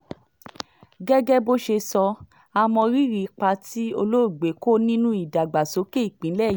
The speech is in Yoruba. gẹ́gẹ́ bó ṣe sọ á mọ́ rírì ipa tí olóògbé kó nínú ìdàgbàsókè ìpínlẹ̀ yìí